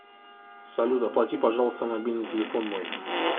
салют оплати пожалуйста мобильный телефон мой